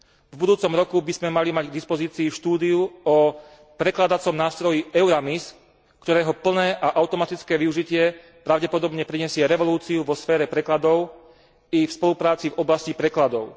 V budúcom roku by sme mali mať k dispozícii štúdiu o prekladacom nástroji Euramis, ktorého plné a automatické využitie pravdepodobne prinesie revolúciu vo sfére prekladov i v spolupráci v oblasti prekladov.